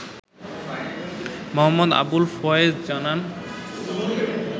মো. আবুল ফয়েজ জানান